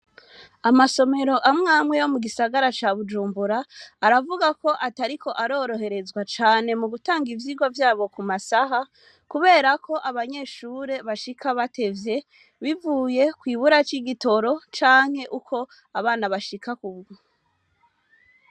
Amasomero amwamwe yo mu gisagara ca Bujumbura aravugako atariko aroroherezwa cane mu gutanga ivyigwa vyabo kumasaha kuberako abanyeshure bashika batevye bivuye kwimbura ry'igitoro canke ukwo abana bashika.